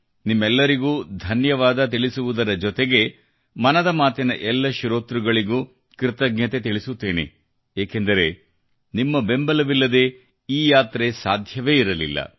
ನಿಮ್ಮೆಲ್ಲರಿಗೂ ಧನ್ಯವಾದ ತಿಳಿಸುವುದರ ಜೊತೆಗೆ ಮನದ ಮಾತಿನ ಎಲ್ಲ ಶ್ರೋತೃಗಳಿಗೂ ಕೃತಜ್ಞತೆ ತಿಳಿಸುತ್ತೇನೆ ಏಕೆಂದರೆ ನಿಮ್ಮ ಬೆಂಬಲವಿಲ್ಲದೆ ಈ ಯಾತ್ರೆ ಸಾಧ್ಯವೇ ಇರಲಿಲ್ಲ